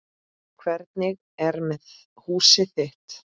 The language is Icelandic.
Hvernig er með húsið þitt